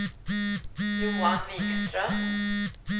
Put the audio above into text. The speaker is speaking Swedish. Johan Vikström